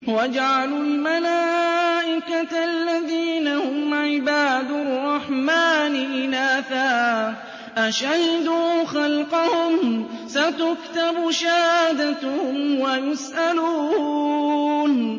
وَجَعَلُوا الْمَلَائِكَةَ الَّذِينَ هُمْ عِبَادُ الرَّحْمَٰنِ إِنَاثًا ۚ أَشَهِدُوا خَلْقَهُمْ ۚ سَتُكْتَبُ شَهَادَتُهُمْ وَيُسْأَلُونَ